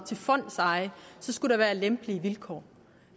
til fondseje skulle der være lempelige vilkår